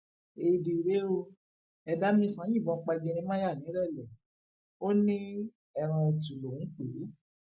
éèdì rèé ó edámisàn yìnbọn pa jeremiah nìrẹlẹ ó ní ẹran ẹtu lòún pè é